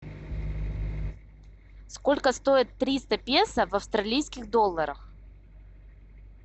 сколько стоит триста песо в австралийских долларах